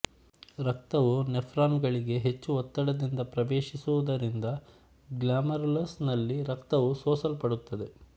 ರಕ್ತವು ನೆಫ್ರಾನ್ಗಳಿಗೆ ಹಚ್ಚು ಒತ್ತಡದಿಂದ ಪ್ರವೇಶಿಸುವುದರಿಂದ ಗ್ಲಾಮರುಲಸ್ ನಲ್ಲಿ ರಕ್ತವು ಸೋಸಲ್ಪಡುತ್ತದೆ